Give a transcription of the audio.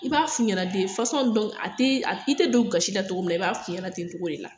I b'a f'u ɲɛna de fasɔn dɔnku a te i te don u gasi la togo min na i b'a f'u ɲɛna ten togo de la